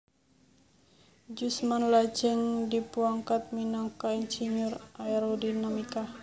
Jusman lajeng dipuangkat minangka insinyur Aerodinamika